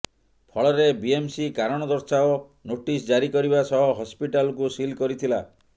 ଫଳରେ ବିଏମସି କାରଣ ଦର୍ଶାଅ ନୋଟିସ୍ ଜାରି କରିବା ସହ ହସ୍ପିଟାଲକୁ ସିଲ୍ କରିଥିଲା